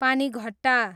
Panighatta